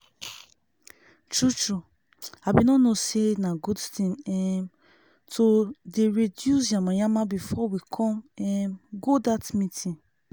tru tru i bin no know say na good thing um to dey reduce yamayama before we con um go that meeting